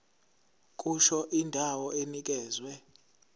kusho indawo enikezwe